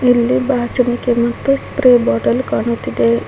ಇಲ್ಲಿ ಬಾಚಣಿಗೆ ಮತ್ತು ಸ್ಪ್ರೇ ಬಾಟಲ್ ಕಾಣುತ್ತಿದೆ.